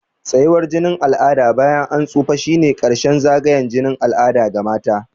Tsayawar jinin al'ada bayan an tsufa shine ƙarshen zagayen jinin al'ada ga mata.